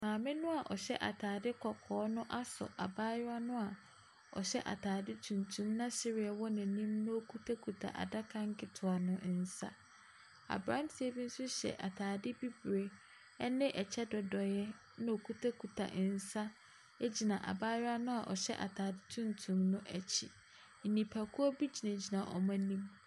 Maame no a ɔhyɛ ataade kɔkɔɔ no asɔ abaayewa no a ɔhyɛ ataade tuntum na sereɛ wɔ n’anim na okitakita adaka nketewa no nsa. Aberanteɛ bi nso hyɛ ataade bibire ne kyɛ dodoeɛ na okitakita nsa gyina abaayewa no a ɔhyɛ ataadeɛ tuntum no akyi. Njipakuo bi gyinagyina wɔn anim.